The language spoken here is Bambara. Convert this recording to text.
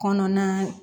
Kɔnɔna